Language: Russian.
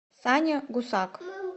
саня гусак